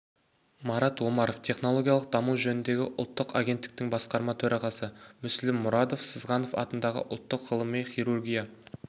марат омаров технологиялық даму жөніндегі ұлттық агенттіктің басқарма төрағасы мүсілім мұрадов сызғанов атындағы ұлттық ғылыми хирургия